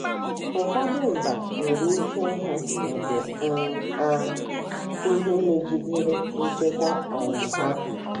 Ụfọdụ mba nwere ike ịhụ nke um a ihe megidere nchekwa um ha